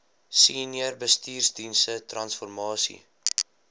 senior bestuursdienste transformasie